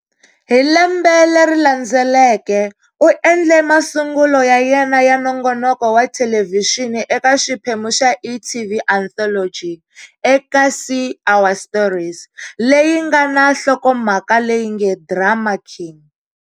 Hi Lembe leri landzeleke, u endle masungulo ya yena ya nongonoko wa thelevhixini eka xiphemu xa e.tv anthology"eKasi-Our Stories" leyi nga na nhlokomhaka leyi nge"Drama King".